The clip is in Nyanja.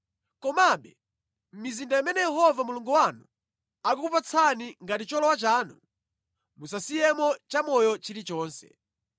Komabe mʼmizinda imene Yehova Mulungu wanu akukupatsani ngati cholowa chanu, musasiyemo chamoyo chilichonse.